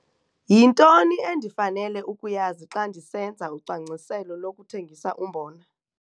YINTONI ENDIFANELE UKUYAZI XA NDISENZA UCWANGCISELO LOKUTHENGISA UMBONA?